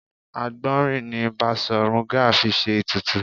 Àgbọ̀nrín ni Basọ̀run Gáà fi ṣe ètùtù